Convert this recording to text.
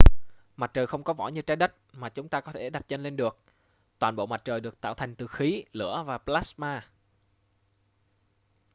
mặt trời không có vỏ như trái đất mà chúng ta có thể đặt chân lên được toàn bộ mặt trời được tạo thành từ khí lửa và plasma